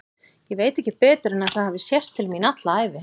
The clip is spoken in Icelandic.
Ég veit ekki betur en að það hafi sést til mín alla ævi.